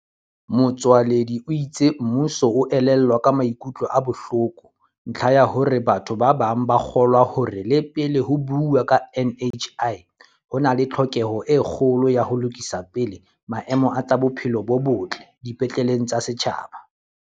Motsoaledi o itse mmuso o elellwa ka maikutlo a bohloko ntlha ya hore batho ba bang ba kgolwa hore le pele ho buuwa ka NHI ho na le tlhoke ho e kgolo ya ho lokisa pele maemo a tsa bophelo bo botle dipetleng tsa setjhaba.